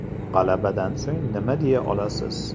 G‘alabadan so‘ng nima deya olasiz?